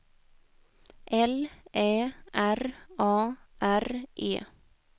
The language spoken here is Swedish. L Ä R A R E